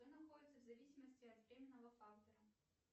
кто находится в зависимости от временного фактора